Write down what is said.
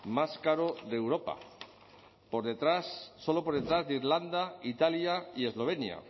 más caro de europa por detrás solo por detrás de irlanda italia y eslovenia